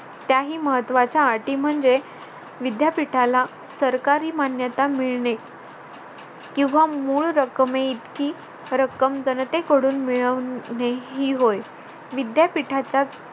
त्याही महत्त्वाच्या अटी म्हणजे विद्यापीठाला सरकारी मान्यता मिळणे किंवा मूळ रकमेइतकी जनतेकडून मिळवणे ही होय विद्यापीठाचा